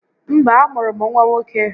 Mba, a mụrụ m nwa nwoke